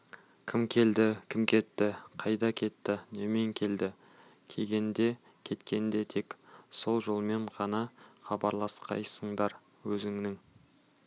кім келді кім кетті қайда кетті немен келді келгенде кеткенде тек сол жолмен ғана хабарласқайсыңдар өзінің